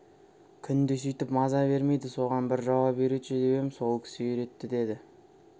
күнде сүйтіп маза бермейді соған бір жауап үйретші деп ем сол кісі үйретті деді